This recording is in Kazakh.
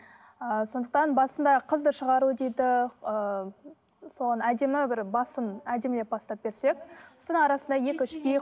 ы сондықтан басында қызды шығару дейді ыыы соған әдемі бір басын әдемілеп бастап берсек сосын арасында екі үш би